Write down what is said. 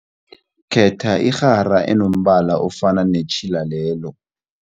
Khetha irhara enombala ofana netjhila lelo.